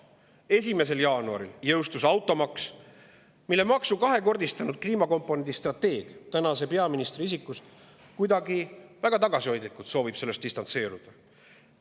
1. jaanuaril jõustus automaks, mille kliimakomponendi kahekordistanud strateeg tänase peaministri isikus soovib kuidagi väga tagasihoidlikult sellest distantseeruda.